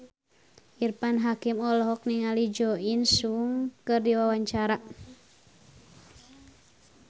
Irfan Hakim olohok ningali Jo In Sung keur diwawancara